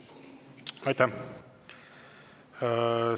Aitäh!